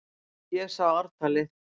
Ég sá ártalið!